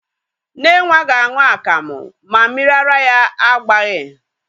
Nne nwa ga-aṅụ akamụ ma mmiri ara ya agbaghị.